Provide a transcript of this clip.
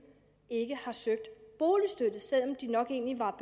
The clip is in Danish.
ikke har søgt boligstøtte selv om de nok egentlig var